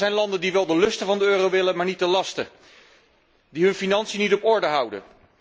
Er zijn landen die wel de lusten van de euro willen, maar niet de lasten, die hun financiën niet op orde houden.